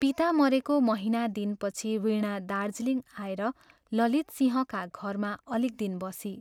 पिता मरेको महीना दिनपछि वीणा दार्जीलिङ आएर ललित सिंहका घरमा अलिक दिन बसी।